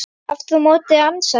Aftur á móti ansaði hinn